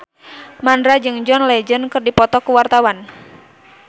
Mandra jeung John Legend keur dipoto ku wartawan